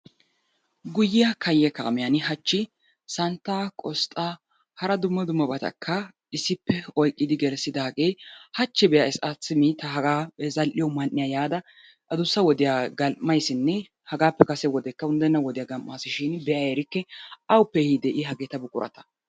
Guyiya kayye kaamiyaani hachi santtaa, qosxaa hara dumma dummabatakka issippe oyqqidi gelissidaage hachi be"ays simi ta haga zal"iyo man"iya yaada adussa wodiya gam"aysinne hagaappe kase wodekka unddenna wodiya gam"aasishin be"a erike awuppe ehidee I hageeta buqurata?